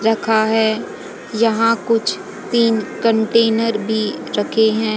रखा है यहां कुछ तीन कंटेनर भी रखे हैं।